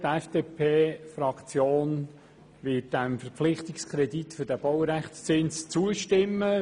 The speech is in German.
Die FDP-Fraktion wird dem Verpflichtungskredit für den Baurechtszins zustimmen.